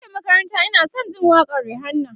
da muke makaranta Ina San Jin waƙan Rihanna